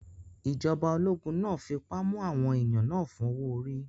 Ìjọba ológun náà fipá mú àwọn èèyàn náà fún owó-orí